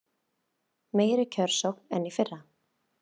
Meiri kjörsókn en í fyrra